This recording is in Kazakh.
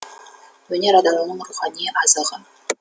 өнер адамның рухани азығы